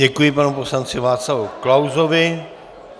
Děkuji panu poslanci Václavu Klausovi.